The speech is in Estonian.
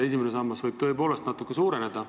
Esimene sammas võib tõepoolest natukene suureneda.